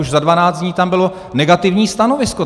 Už za dvanáct dnů tam bylo negativní stanovisko.